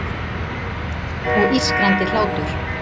Og ískrandi hlátur.